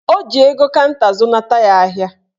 Ọ ji ego kanta zụnata ya ahịa